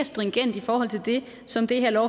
stringent i forhold til det som det her